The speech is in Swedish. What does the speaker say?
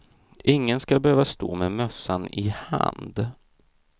Ingen skall behöva stå med mössan i hand.